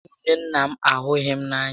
Nwunye nnà m ahughị m n'anya